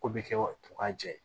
Ko bɛ kɛ wa u ka jɛ